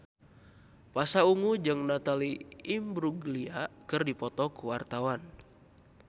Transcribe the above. Pasha Ungu jeung Natalie Imbruglia keur dipoto ku wartawan